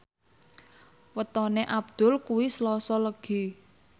wetone Abdul kuwi Selasa Legi